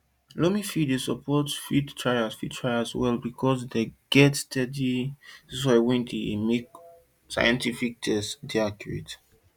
loamy fields dey support field trials field trials well because dem get steady soil wey make scientific testing dey accurate